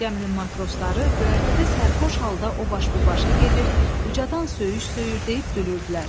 Gəminin matrosları göyərtədə sərxoş halda o baş bu başa gedir, ucadan söyüş söyür deyib gülürdülər.